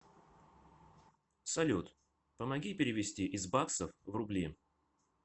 салют помоги перевести из баксов в рубли